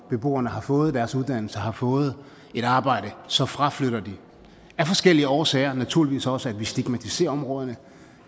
beboerne har fået deres uddannelse har fået et arbejde så fraflytter de af forskellige årsager og naturligvis også fordi vi stigmatiserer områderne